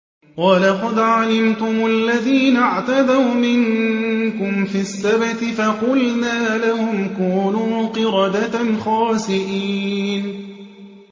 وَلَقَدْ عَلِمْتُمُ الَّذِينَ اعْتَدَوْا مِنكُمْ فِي السَّبْتِ فَقُلْنَا لَهُمْ كُونُوا قِرَدَةً خَاسِئِينَ